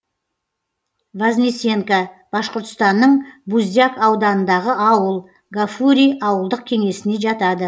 вознесенка башқұртстанның буздяк ауданындағы ауыл гафурий ауылдық кеңесіне жатады